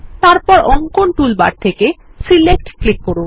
তারপর অঙ্কন টুলবার থেকে সিলেক্ট ক্লিক করুন